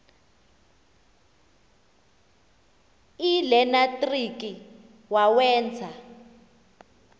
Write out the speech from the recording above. l nelenatriki wawenza